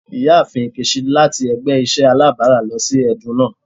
Iyaafin Nkechi lati ẹgbẹ iṣẹ alabara lọ si ẹdun naa.